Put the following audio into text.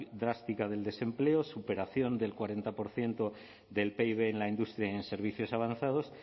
drástica del desempleo superación del cuarenta por ciento del pib en la industria y en servicios avanzados